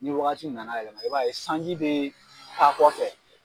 Ni wagati na na yɛlɛma i b'a ye sanji bɛ taa kɔfɛ.